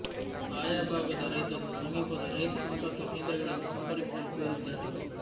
ಆಯಾ ಭಾಗದ ರೈತರು ಸಮೀಪದ ರೈತ ಸಂಪರ್ಕ ಕೇಂದ್ರಗಳನ್ನು ಸಂಪರ್ಕಿಸಲು ಕೋರಿದ್ದಾರೆ